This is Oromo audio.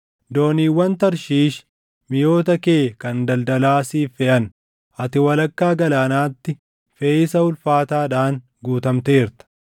“ ‘Dooniiwwan Tarshiish, miʼoota kee kan daldalaa siif feʼan. Ati walakkaa galaanaatti feʼiisa ulfaataadhaan guutamteerta.